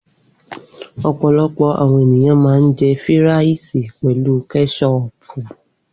Opolopo àwọn ènìyàn ma ń jẹ́ fíràìsì pelu kẹ́sọpù.